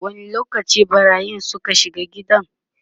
wani lokaci ɓarayin Suka shiga gidan?